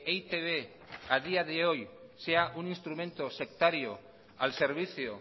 e i te be a día de hoy sea un instrumento sectario al servicio